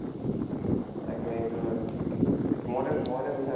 তাকে সেইটোয়ো হয়। মইটো মইটো বিচাৰোঁ